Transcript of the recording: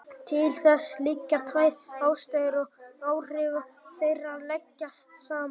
Til þess liggja tvær ástæður og áhrif þeirra leggjast saman.